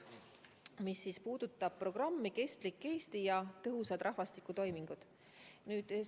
Mis puudutab programmi "Kestlik Eesti ja tõhusad rahvastikutoimingud", siis seda sai ka enne põgusalt selgitatud.